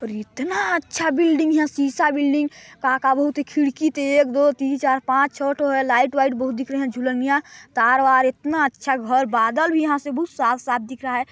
इतना अच्छा बिल्डिंग यहाँ सीसा बिल्डिंग का का एक दो तीन चार पांच छो ठो लाइट -वाईट बहुत दिख रहे है झूलनिया तार -वार बादल भी यहाँ से बहुत साफ़ -साफ़ दिख रहा हैं।